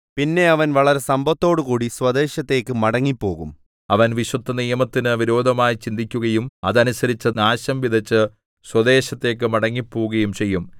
പിന്നെ അവൻ വളരെ സമ്പത്തോടുകൂടി സ്വദേശത്തേക്ക് മടങ്ങിപ്പോകും അവൻ വിശുദ്ധനിയമത്തിന് വിരോധമായി ചിന്തിക്കുകയും അതനുസരിച്ച് നാശം വിതച്ച് സ്വദേശത്തേക്ക് മടങ്ങിപ്പോകുകയും ചെയ്യും